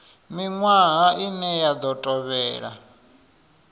miṅwaha ine ya ḓo tevhela